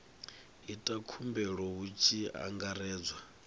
ita khumbelo hu tshi angaredzwa